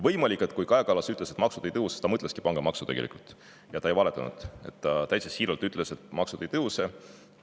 Võimalik, et kui Kaja Kallas ütles, et maksud ei tõuse, siis ta mõtleski tegelikult pangamaksu, ja ta ei valetanud, ta täitsa siiralt ütles, et maksud ei tõuse.